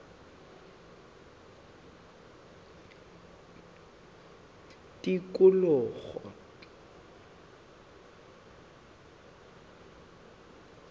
tikologo